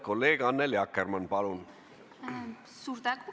Kolleeg Annely Akkermann, palun!